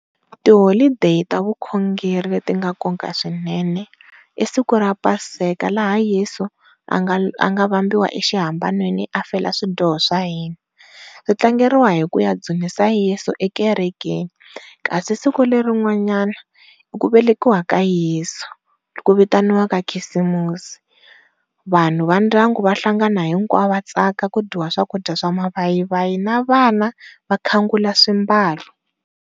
Ti holiday ta vukhongeri ti nga nkoka swinene i siku ra paseka lahe yeso a nga a nga vambiwa exihambanweni a fela swidyoho swa hina, ri tlangeriwa hi ku ya dzunisa yeso ekerekeni, kasi siku leri rin'wana i ku velekiwa ka yeso ku vitaniwaka khisimusi vanhu va ndyangu va hlangana hinkwavo va katsaka ku dyiwa swakudya swa mavayivayi na vana vakhangula swambalo.